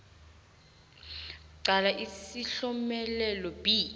qala isihlomelelo b